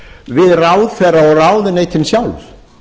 við ráðherra og ráðuneytin sjálf